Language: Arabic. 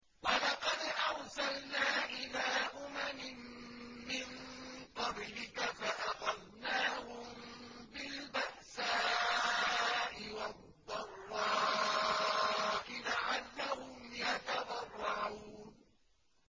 وَلَقَدْ أَرْسَلْنَا إِلَىٰ أُمَمٍ مِّن قَبْلِكَ فَأَخَذْنَاهُم بِالْبَأْسَاءِ وَالضَّرَّاءِ لَعَلَّهُمْ يَتَضَرَّعُونَ